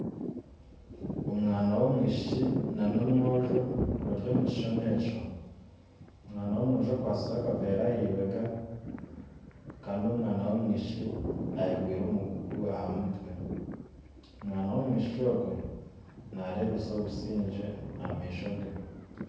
Omwana w'omwishiki na omwojo bari omukishushani ekyo, omwana w'omwojo akwatsire akaveera ahibega kandi omwishiki ayekoriire omugugu ahamutwe, omwana w'omwishiki ogwe nareebesa obusingye ahamaisho ge.